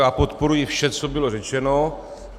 Já podporuji vše, co bylo řečeno.